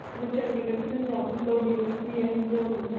ਜੋ ਚੰਡੀਗੜ੍ਹ ਤੇ ਪੰਜਾਬ ਨੂੰ ਸੱਬ ਤੋਂ ਵੱਡੀ university ਹੈ ਜਿਹੜਾ